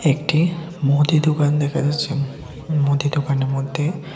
একটি মদি দোকান দেকা যাচ্ছে মদী দোকানের মধ্যে--